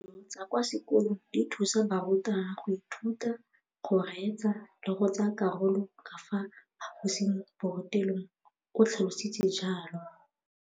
Dijo tsa kwa sekolong dithusa barutwana go ithuta, go reetsa le go tsaya karolo ka fa phaposiborutelong, o tlhalositse jalo.